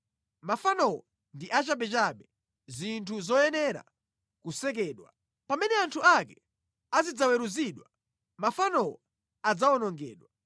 Mafanowo ndi achabechabe, zinthu zosekedwa nazo. Pamene anthuwo azidzaweruzidwa mafanowo adzawonongedwa.